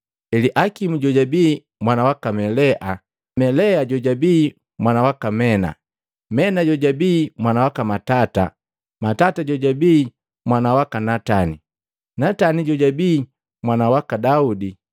Eliakimu jojabi mwana waka Melea, Melea jojabii mwana waka Mena, Mena jojabii mwana waka Matata, Matata jojabii mwana waka Natani, Natani jojabii mwana waka Daudi,